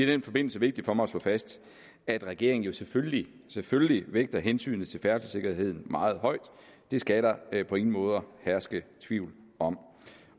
den forbindelse vigtigt for mig at slå fast at regeringen jo selvfølgelig selvfølgelig vægter hensynet til færdselssikkerheden meget højt det skal der på ingen måde herske tvivl om